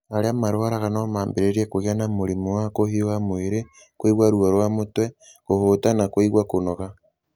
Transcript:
Arĩa marwaraga no mambĩrĩrie kũgĩa na mũrimũ wa kũhiũha mwĩrĩ, kũigua ruo rwa mũtwe, kũhũta na kũigua kũnoga.